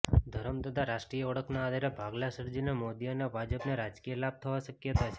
ધર્મ તથા રાષ્ટ્રીય ઓળખના આધારે ભાગલા સર્જીને મોદી અને ભાજપને રાજકીય લાભ થવા શકયતા છે